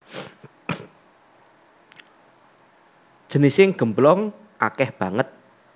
Jenising gemblong akèh banget